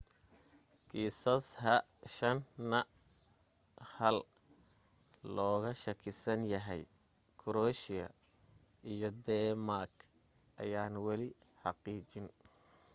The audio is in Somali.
kiisas h5n1 looga shakisan yahay kuraweeshiya iyo dheemaak ayaan wali xaqiijin